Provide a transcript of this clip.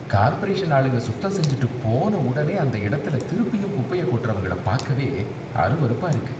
Corporation ஆளுங்க சுத்தம் செஞ்சுட்டு போன உடனே அந்த இடத்துல திருப்பியும் குப்பைய கொட்டறவங்கள பாக்கவே அருவெறுப்பாக இருக்கு.